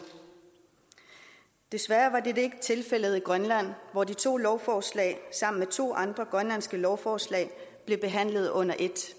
desværre var dette ikke tilfældet i grønland hvor de to lovforslag sammen med to andre grønlandske lovforslag blev behandlet under et